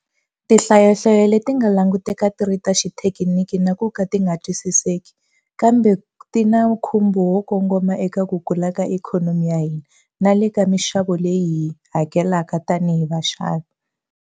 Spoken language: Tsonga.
Tinhlayonhlayo leti ti nga languteka ti ri ta xithekiniki na ku nga twisiseki, kambe ti na nkhumbo wo kongoma eka ku kula ka ikhonomi ya hina na le ka mixavo leyi hi yi hakelaka tanihi vaxavi.